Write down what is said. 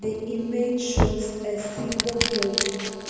the image shows a single building.